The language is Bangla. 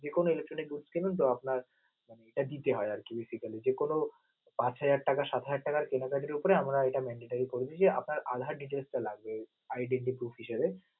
যে কোনো electricity দ্রব্যের তো আপনার দিতে হয়, আরকি basically যে কোনো পাঁচ হাজার টাকা, সাত হাজার টাকা কেনাকাটার উপরে আমরা এটা mandatory করে দিয়েছি আপনার আধার details টা লাগবে.